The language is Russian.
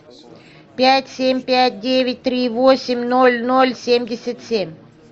пять семь пять девять три восемь ноль ноль семьдесят семь